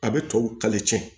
A bɛ tɔw